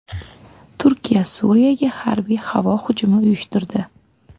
Turkiya Suriyaga harbiy havo hujumi uyushtirdi.